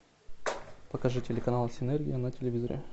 покажи телеканал синергия на телевизоре